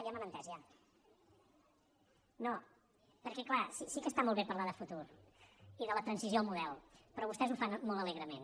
no perquè clar sí que està molt bé parlar de futur i de la transició al model però vostès ho fan molt alegrement